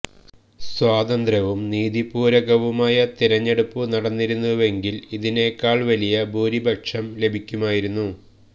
സ്വതന്ത്രവും നീതിപൂര്വകവുമായ തെരഞ്ഞെടുപ്പു നടന്നിരുന്നുവെങ്കില് ഇതിനേക്കാള് വലിയ ഭൂരിപക്ഷം ലഭിക്കുമായിരുന്നു